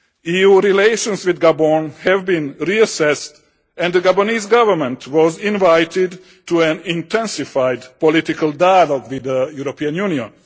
EU relations with Gabon have been reassessed and the Gabonese Government was invited to an intensified political dialogue with the European Union.